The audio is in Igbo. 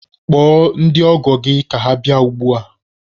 Kpọọ ndị ọgọ gị ka ha bịa ugbua!